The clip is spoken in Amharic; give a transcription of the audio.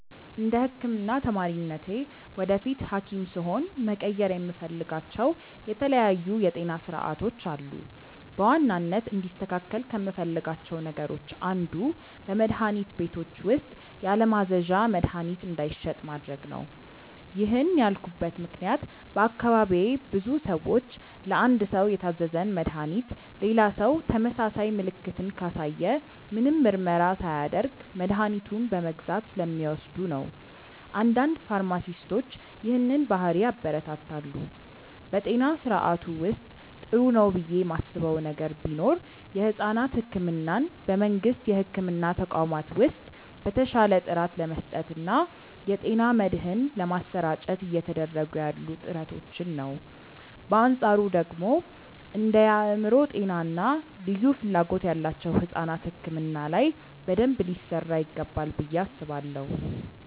እንደ ህክምና ተማሪነቴ ወደፊት ሀኪም ስሆን መቀየር የምፈልጋቸው የተለያዩ የጤና ስርዓቶች አሉ። በዋናነት እንዲስተካከል ከምፈልጋቸው ነገሮች አንዱ በመድሀኒት ቤቶች ውስጥ ያለማዘዣ መድሀኒት እንዳይሸጥ ማድረግ ነው። ይህን ያልኩበት ምክንያት በአካባቢዬ ብዙ ሰዎች ለአንድ ሰው የታዘዘን መድሃኒት ሌላ ሰው ተመሳሳይ ምልክትን ካሳየ ምንም ምርመራ ሳያደርግ መድኃኒቱን በመግዛት ስለሚወስዱ ነው። አንዳንድ ፋርማሲስቶች ይህንን ባህሪ ያበረታታሉ። በጤና ስርዓቱ ውስጥ ጥሩ ነው ብዬ ማስበው ነገር ቢኖር የሕፃናት ሕክምናን በመንግስት የሕክምና ተቋማት ውስጥ በተሻለ ጥራት ለመስጠት እና የጤና መድህን ለማሰራጨት እየተደረጉ ያሉ ጥረቶችን ነው። በአንፃሩ ደግሞ እንደ የአእምሮ ጤና እና ልዩ ፍላጎት ያላቸው ሕፃናት ሕክምና ላይ በደንብ ሊሰራ ይገባል ብዬ አስባለሁ።